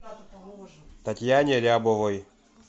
татьяне рябовой